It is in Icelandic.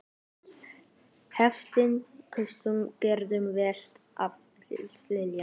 Hafsteinn Hauksson: Gengur vel að selja?